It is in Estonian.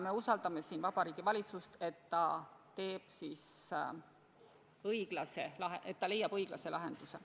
Me usaldame Vabariigi Valitsust, et ta leiab õiglase lahenduse.